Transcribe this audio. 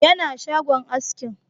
Yana shagon askin